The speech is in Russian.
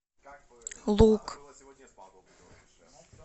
лук